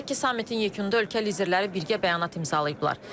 Qeyd edək ki, sammitin yekununda ölkə liderləri birgə bəyanat imzalayıblar.